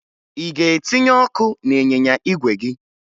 Ị ga-etinye ọkụ n'ịnyịnya igwe gị?